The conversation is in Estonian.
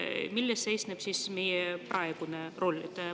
Milles seisneb meie praegune roll?